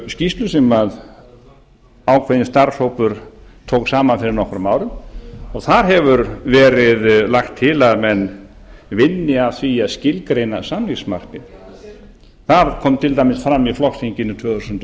evrópuskýrslu sem ákveðinn starfshópur tók saman fyrir nokkrum árum og þar hefur verið lagt til að menn vinni að því að skilgreina samningsmarkmið það kom til dæmis fram á flokksþingi tvö þúsund og